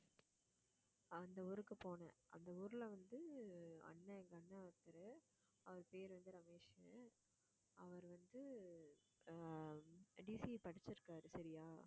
அந்த ஊருக்கு போனேன் அந்த ஊர்ல வந்து, அண்ணன் எங்க அண்ணன் ஒருத்தரு. அவர் பேரு வந்து ரமேஷ்ன்னு. அவர் வந்து அஹ் படிச்சிருக்காரு சரியா